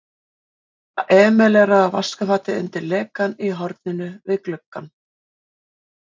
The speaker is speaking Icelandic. Bláa emaleraða vaskafatið undir lekann í horninu við gluggann.